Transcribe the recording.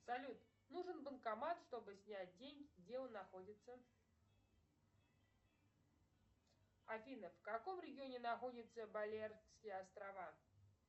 салют нужен банкомат чтобы снять деньги где он находится афина в каком регионе находятся балеарские острова